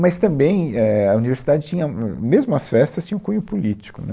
Mas, também, é, a universidade tinha, hum, mesmo as festas, tinham cunho político, né.